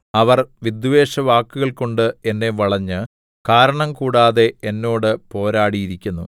അവർ വിദ്വേഷവാക്കുകൾകൊണ്ട് എന്നെ വളഞ്ഞ് കാരണംകൂടാതെ എന്നോട് പോരാടിയിരിക്കുന്നു